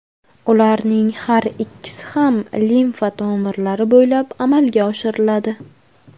Ularning har ikkisi ham limfa tomirlari bo‘ylab amalga oshiriladi.